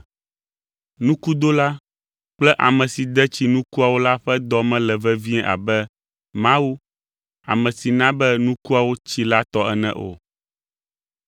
Nukudola kple ame si de tsi nukuawo la ƒe dɔ mele vevie abe Mawu, ame si na be nukuawo tsi la tɔ ene o.